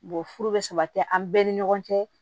Bon furu bɛ sabati an bɛɛ ni ɲɔgɔn cɛ